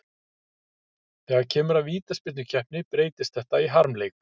Þegar kemur að vítaspyrnukeppni breytist þetta í harmleik.